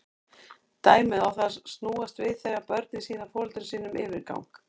Dæmið á það til að snúast við þegar börn sýna foreldrum sínum yfirgang.